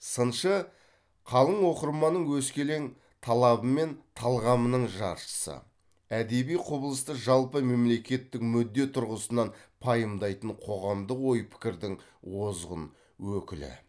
сыншы қалың оқырманның өскелең талабы мен талғамының жаршысы әдеби құбылысты жалпы мемлекеттік мүдде тұрғысынан пайымдайтын қоғамдық ой пікірдің озғын өкілі